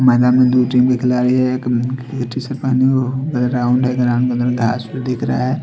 मैदान में दो तीन विकलालय है ग्राउंड है ग्राउंड में घास भी दिख रहा है।